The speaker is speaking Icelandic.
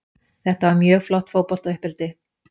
Þetta var mjög gott fótbolta uppeldi.